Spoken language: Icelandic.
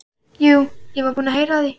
Jú, ég var búinn að heyra af því.